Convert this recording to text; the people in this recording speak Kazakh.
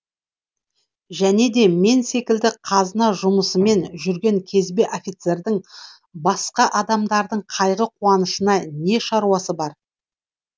және де мен секілді қазына жұмысымен жүрген кезбе офицердің басқа адамдардың қайғы қуанышына не шаруасы бар